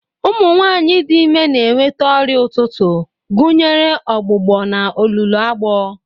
Ụmụ nwanyị dị ime na-enweta ọrịa ụtụtụ, gụnyere ọgbụgbọ na olulu agbọ.